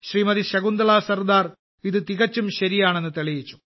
ശകുന്തളാ സർദാർ ഇത് തികച്ചും ശരിയാണെന്ന് തെളിയിച്ചു